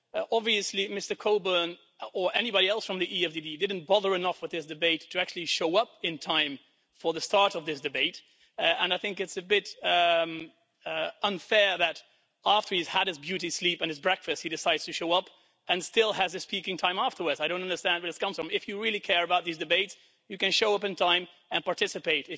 Obviously Mr Coburn, or anybody else from the EFDD, didn't bother enough with this debate to actually show up in time for the start of this debate, and I think it's a bit unfair that after he's had his beauty sleep and his breakfast he decides to show up and still has a speaking time afterwards. I don't understand where this comes from. If you really care about these debates you can show up on time and participate.